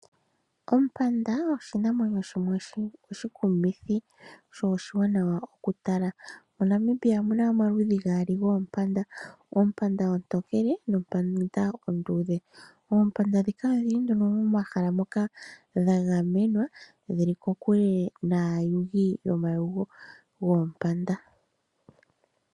Ompanda oshinamwenyo shimwe oshikumithi sho oshiwanawa mokutala. MoNamibia omuna omaludhi gaali goompanda. Oompanda oontookele noompanda oonduudhe. Oompanda dhika odhili nduno momahala moka dha gamenwa. Dhili kokule naayugi yomayego goompanda.